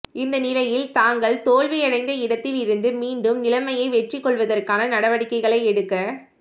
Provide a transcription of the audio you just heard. இந்தநிலையில் தாங்கள் தோல்வி அடைந்த இடத்தில் இருந்து மீண்டும் நிலைமையை வெற்றிக் கொள்வதற்கான நடவடிக்கைகளை எடுக்க